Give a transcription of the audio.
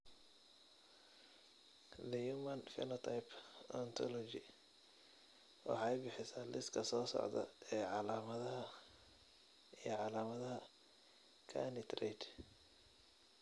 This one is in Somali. The Human Phenotype Ontology waxay bixisaa liiska soo socda ee calaamadaha iyo calaamadaha Carney triad.